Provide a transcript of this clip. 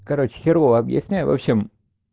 короче херово объясняю в общем